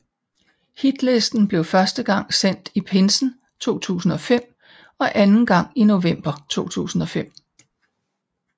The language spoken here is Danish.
Hitlisten blev første gang sendt i pinsen 2005 og anden gang i november 2005